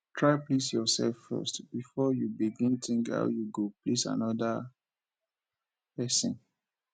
try please yourself first before you begin think how you go please another persin